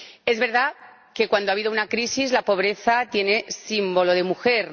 Es verdad que, cuando habido una crisis, la pobreza tiene símbolo de mujer.